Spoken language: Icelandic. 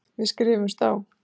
Við skrifumst á.